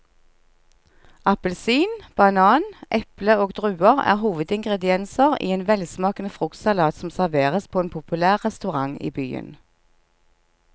Appelsin, banan, eple og druer er hovedingredienser i en velsmakende fruktsalat som serveres på en populær restaurant i byen.